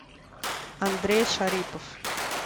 андрей шарипов